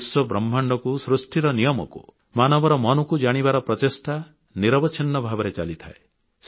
ବିଶ୍ୱବ୍ରହ୍ମାଣ୍ଡକୁ ସୃଷ୍ଟିର ନିୟମକୁ ମାନବର ମନକୁ ଜାଣିବାର ପ୍ରଚେଷ୍ଟା ନିରବଚ୍ଛିନ୍ନ ଭାବରେ ଚାଲିଥାଏ